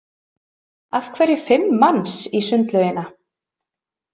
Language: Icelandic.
Af hverju fimm manns í sundlaugina?